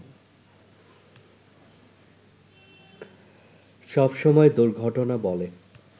সবসময় দূর্ঘটনা বলে